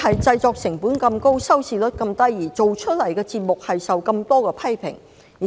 製作成本高但收視率低，製作的節目受到眾多批評。